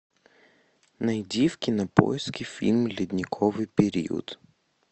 найди в кинопоиске фильм ледниковый период